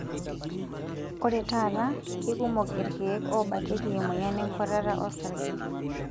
Ore taata, keikumok ilkeek oobakieki emoyian enkuatata osarge.